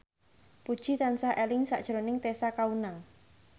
Puji tansah eling sakjroning Tessa Kaunang